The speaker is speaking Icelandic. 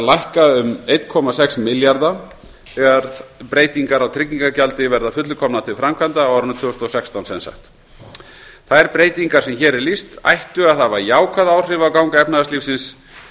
lækka um eitt komma sex milljarða þegar breytingar á tryggingagjaldi verða að fullu komnar til framkvæmda þær breytingar sem hér er lýst ættu að hafa jákvæð áhrif á gang efnahagslífsins